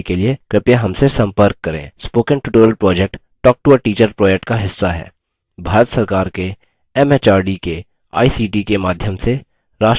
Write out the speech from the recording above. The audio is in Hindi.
spoken tutorial project talktoateacher project का हिस्सा है भारत सरकार के एमएचआरडी के आईसीटी के माध्यम से राष्ट्रीय साक्षरता mission द्वारा समर्थित है